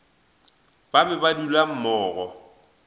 ba be ba dula mmogo